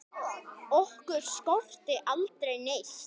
Okkur skorti aldrei neitt.